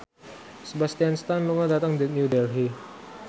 Sebastian Stan lunga dhateng New Delhi